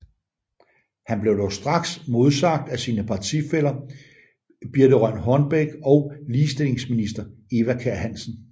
Han blev dog straks modsagt af sine partifæller Birthe Rønn Hornbech og ligestillingsminister Eva Kjer Hansen